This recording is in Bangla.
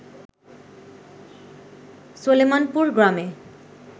সলেমানপুর গ্রামে